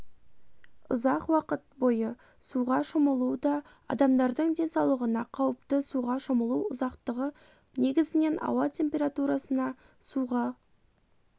ұзақ уақыт бойы суға шомылу да адамдардың денсаулығына қауіпті суға шомылу ұзақтығы негізінен ауа температурысына суға